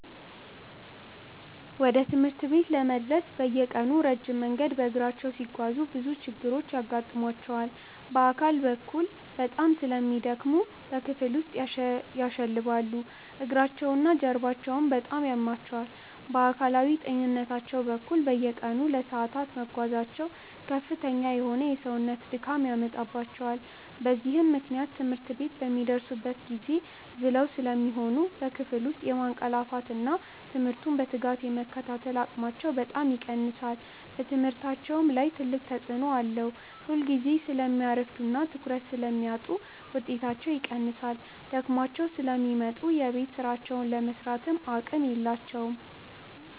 ወደ ትምህርት ቤት ለመድረስ በየቀኑ ረጅም መንገድ በእግራቸው ሲጓዙ ብዙ ችግሮች ይገጥሟቸዋል። በአካል በኩል በጣም ስለሚደክሙ በክፍል ውስጥ ያሸልባሉ፤ እግራቸውና ጀርባቸውም በጣም ያማቸዋል። በአካላዊ ጤንነታቸው በኩል፣ በየቀኑ ለሰዓታት መጓዛቸው ከፍተኛ የሆነ የሰውነት ድካም ያመጣባቸዋል። በዚህም ምክንያት ትምህርት ቤት በሚደርሱበት ጊዜ ዝለው ስለሚሆኑ በክፍል ውስጥ የማንቀላፋትና ትምህርቱን በትጋት የመከታተል አቅማቸው በጣም ይቀንሳል። በትምህርታቸውም ላይ ትልቅ ተጽዕኖ አለው፤ ሁልጊዜ ስለሚያረፍዱና ትኩረት ስለሚያጡ ውጤታቸው ይቀንሳል። ደክሟቸው ስለሚመጡ የቤት ሥራቸውን ለመሥራትም አቅም የላቸውም።